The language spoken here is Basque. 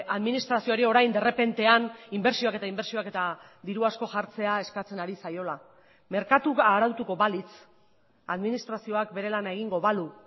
administrazioari orain de repentean inbertsioak eta inbertsioak eta diru asko jartzea eskatzen ari zaiola merkatua arautuko balitz administrazioak bere lana egingo balu